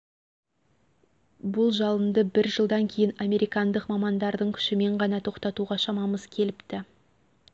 бұл жалынды бір жылдан кейін американдық мамандардың күшімен ғана тоқтатуға шамамыз келіпті